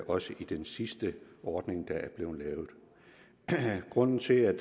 også i den sidste ordning der er blevet lavet grunden til at